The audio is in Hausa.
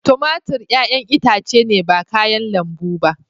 Tumatur 'ƴa'ƴan itace ne ba kayan lambu ba.